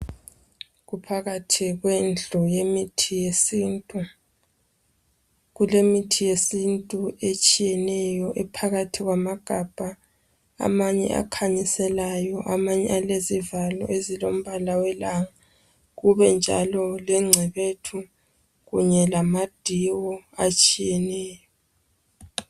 Kuphakathi kwendlu yemithi yesintu kulemithi yesintu etshiyeneyo ephakathi kwamagabha amanye akhanyiselayo amanye alezivalo ezilombala welanga kubenjalo lencebethu kanye lamadiwo etshiyeneyo.